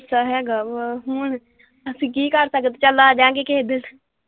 ਜੇ ਤਾਂ ਗੁੱਸਾ ਹੈਗਾ ਵਾ ਕੀ ਹੁਣ ਅਸੀਂ ਕਰ ਸਕਦੇ ਚੱਲ ਆਜਾਂਗੇ ਕਿਸੇ ਦਿਨ।